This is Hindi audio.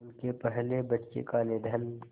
उनके पहले बच्चे का निधन